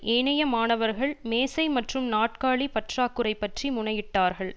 ஏனைய மாணவர்கள் மேசை மற்றும் நாற்காலி பற்றாக்குறை பற்றி முறையிட்டார்கள்